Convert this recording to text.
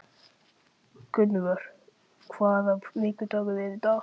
Gunnvör, hvaða vikudagur er í dag?